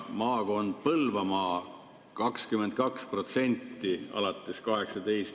Maakond Põlvamaa: 22% alates 18.